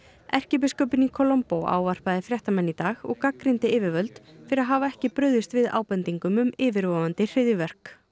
erkibiskupinn í ávarpaði fréttamenn í dag og gagnrýndi yfirvöld fyrir að hafa ekki brugðist við ábendingum um yfirvofandi hryðjuverk